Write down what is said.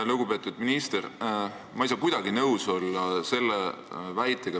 Lugupeetud minister!